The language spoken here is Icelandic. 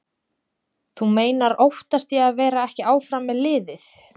Þú meinar óttast ég að vera ekki áfram með liðið?